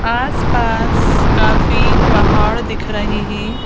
आसपास काफी पहाड़ दिख रही है।